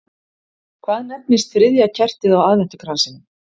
Hvað nefnist þriðja kertið á aðventukransinum?